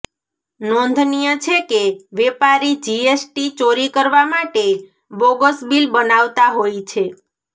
નોંધનીય છે કે વેપારી જીએસટી ચોરી કરવા માટે બોગસ બિલ બનાવતા હોય છે